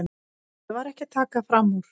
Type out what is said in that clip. Ég var ekki að taka fram úr.